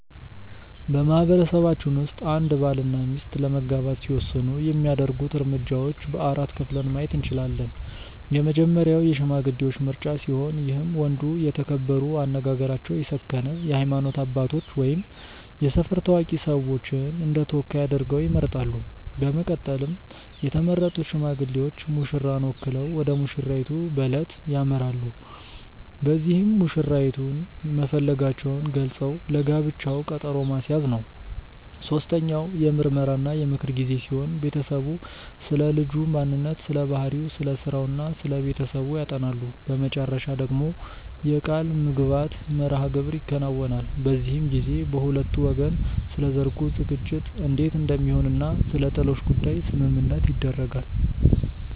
በማህበረሰባችን ውስጥ አንድ ባል እና ሚስት ለመጋባት ሲወስኑ የሚያደርጉት እርምጃዎች በ4 ከፍለን ማየት እንችላለን። የመጀመሪያው የሽማግሌዎች ምርጫ ሲሆን ይህም ወንዱ የተከበሩ፣ አነጋገራቸው የሰከነ የሃይማኖት አባቶች ወይም የሰፈር ታዋቂ ሰዎችን እንደተወካይ አድርገው ይመርጣሉ። በመቀጠልም የተመረጡት ሽማግሌዎች ሙሽራን ወክለው ወደሙሽራይቱ በለት ያመራሉ። በዚህም መሽራይቱን መፈለጋቸውን ገልፀው ለጋብቻው ቀጠሮ ማስያዝ ነው። ሶስተኛው የምርመራ እና የምክር ጊዜ ሲሆን ቤተሰቡ ስለልጁ ማንነት ስለባህሪው፣ ስለስራው እና ስለቤተሰቡ ያጠናሉ። በመጨረሻ ደግሞ የቃልምግባት መርሐግብር ይከናወናል። በዚህም ጊዜ በሁለቱ ወገን ስለሰርጉ ዝግጅት እንዴት እንደሚሆን እና ስለጥሎሽ ጉዳይ ስምምነት ይደረጋል።